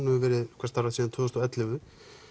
hefur verið staðrækt síðan tvö þúsund og ellefu